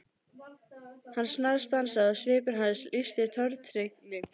Hann snarstansaði og svipur hans lýsti tortryggni.